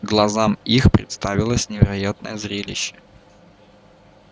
глазам их представилось невероятное зрелище